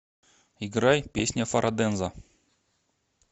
играй песня фараденза